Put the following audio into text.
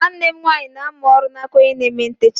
Nwanne m nwaanyị na-amụ oru n'aka onye na-eme ntecha.